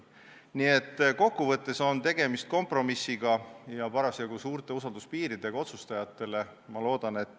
Nii et kokku võttes on tegemist kompromissiga ja parasjagu suurte usalduspiiridega otsustajatele.